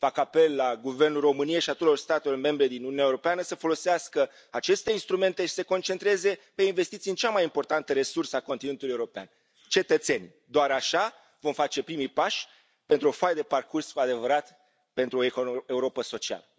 Fac apel la Guvernul României și al tuturor statelor membre din Uniunea Europeană să folosească aceste instrumente și să se concentreze pe investiții în cea mai importantă resursă a continentului european cetățenii. Doar așa vom face primii pași pentru o foaie de parcurs cu adevărat pentru o Europă socială.